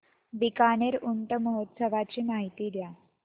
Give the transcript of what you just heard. बीकानेर ऊंट महोत्सवाची माहिती द्या